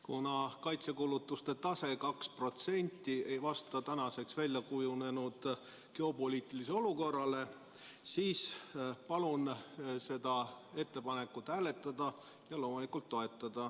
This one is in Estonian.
Kuna kaitsekulutuste tase 2% SKP-st ei vasta praeguseks väljakujunenud geopoliitilisele olukorrale, siis palun seda ettepanekut hääletada ja loomulikult ka toetada.